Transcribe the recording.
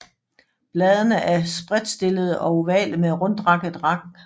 Bladene er spredtstillede og ovale med rundtakket rand